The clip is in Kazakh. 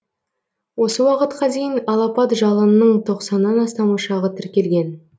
осы уақытқа дейін алапат жалынның тоқсаннан астам ошағы тіркелген